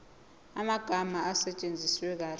amagama asetshenziswe kahle